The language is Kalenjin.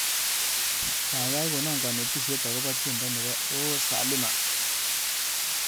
Gaigai kono kanetishet agoba tyendo nebo o. saalima